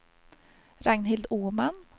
Ragnhild Åman